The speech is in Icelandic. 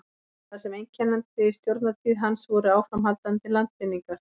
það sem einkenndi stjórnartíð hans voru áframhaldandi landvinningar